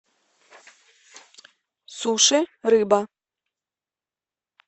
суши рыба